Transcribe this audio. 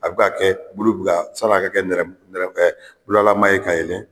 A be ka kɛ bulu bi ka san'a ka kɛ nɛrɛmugu nɛrɛ ɛ bulalama ye ka yɛlɛn